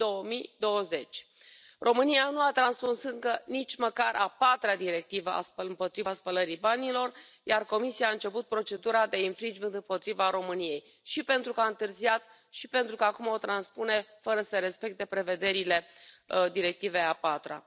2020. România nu a transpus încă nici măcar a patra Directivă împotriva spălării banilor, iar Comisia a început procedura de infringement împotriva României și pentru că a întârziat, și pentru că acum o transpune fără să respecte prevederile Directivei a patra.